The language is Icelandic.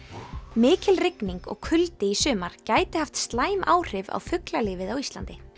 mikil rigning og kuldi í sumar gæti haft slæm áhrif á fuglalífið á Íslandi